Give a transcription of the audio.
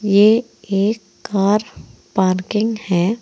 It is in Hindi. ये एक कार पार्किंग है।